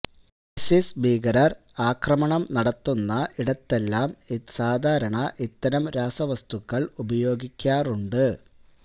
ISIS ഭീകരര് ആക്രമണം നടത്തുന്ന ഇടത്തെല്ലാം സാധാരണ ഇത്തരം രാസവസ്തുക്കള് ഉപയോഗിക്കാറുണ്ട്